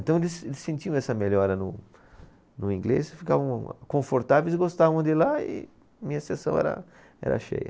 Então eles, eles sentiam essa melhora no, no inglês, e ficavam confortáveis e gostavam de ir lá e minha seção era, era cheia.